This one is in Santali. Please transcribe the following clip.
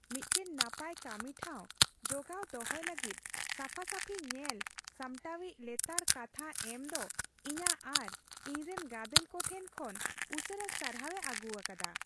ᱢᱤᱫᱴᱟᱝ ᱱᱟᱯᱟᱭ ᱠᱟᱹᱢᱤ ᱴᱷᱟᱶ ᱡᱜᱟᱣᱚ ᱫᱚᱦᱚᱭ ᱞᱟᱹᱜᱤᱫ ᱥᱟᱯᱷᱟᱼᱥᱟᱹᱯᱷᱤ ᱧᱮᱞ ᱥᱟᱢᱴᱟᱣᱤᱡᱟᱜ ᱞᱮᱛᱟᱲ ᱠᱟᱛᱷᱟ ᱮᱢ ᱫᱚ ᱤᱧᱟᱹᱜ ᱟᱨ ᱤᱧ ᱨᱮᱱ ᱜᱟᱫᱮᱞ ᱠᱚᱴᱷᱮᱱ ᱠᱷᱚᱱ ᱩᱥᱟᱹᱨᱟ ᱥᱟᱨᱦᱟᱣᱮ ᱟᱹᱜᱩ ᱟᱠᱟᱫᱟ ᱾